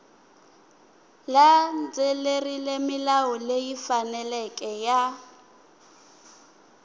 landzelerile milawu leyi faneleke ya